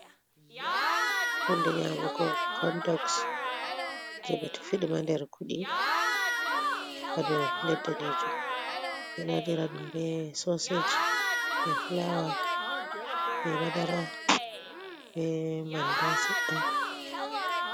Hunde nyamugo condoks, je ɓe tufi ɗum ha nder kuɗi ha dow pallet danejum, ɓe ɗo waɗira ɗum be soseje be fulawa, be badara, be manda sedda.